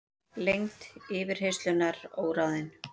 Lengd yfirheyrslunnar óráðin